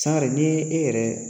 Sangare ni e yɛrɛ